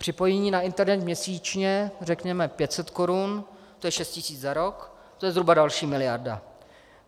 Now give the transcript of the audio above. Připojení na internet měsíčně řekněme 500 korun, to je 6 000 za rok, to je zhruba další miliarda.